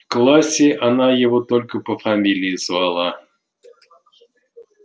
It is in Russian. в классе она его только по фамилии звала